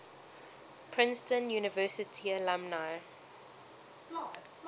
princeton university alumni